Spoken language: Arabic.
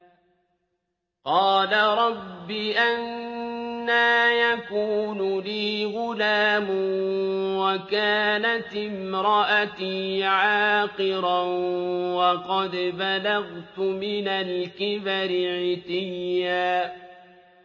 قَالَ رَبِّ أَنَّىٰ يَكُونُ لِي غُلَامٌ وَكَانَتِ امْرَأَتِي عَاقِرًا وَقَدْ بَلَغْتُ مِنَ الْكِبَرِ عِتِيًّا